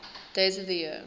days of the year